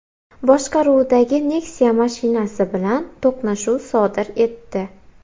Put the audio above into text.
boshqaruvidagi Nexia mashinasi bilan to‘qnashuv sodir etdi.